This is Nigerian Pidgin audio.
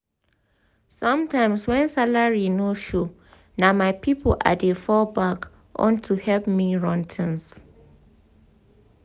sometimes when salary no show na my people i dey fall back on to help me run things.